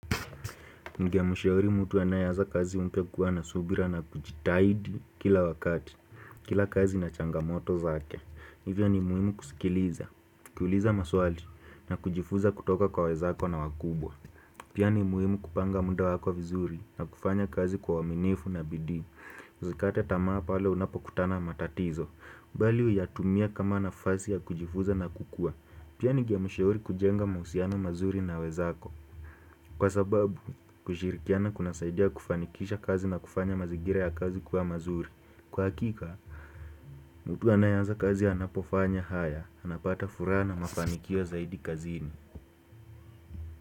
Ningemshauri mtu anayeaza kazi mpya kuwa na subira na kujitahidi kila wakati, kila kazi na changamoto zake. Hivyo ni muhimu kusikiliza, kukuuliza maswali na kujifunza kutoka kwa wezako na wakubwa. Pia ni muhimu kupanga muda wako vizuri na kufanya kazi kwa uaminifu na bidii. Usikate tamaa pale unapo kutana na matatizo. Bali huya tumie kama nafasi ya kujifunza na kukua. Pia ningea mshauri kujenga mahusiana mazuri na wenzako. Kwa sababu, kushirikiana kuna saidia kufanikisha kazi na kufanya mazingira ya kazi kwa mazuri. Kwa hakika, mtu anayeaza kazi anapofanya haya, anapata furaha na mafanikio zaidi kazini.